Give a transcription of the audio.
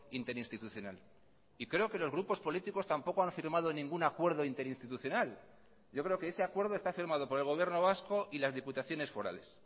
interinstitucional y creo que los grupos políticos tampoco han firmado ningún acuerdo interinstitucional yo creo que ese acuerdo está firmado por el gobierno vasco y las diputaciones forales